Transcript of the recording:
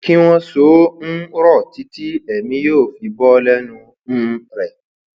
kí wọn so ó um rọ títí èmi yóò fi bọ lẹnu um rẹ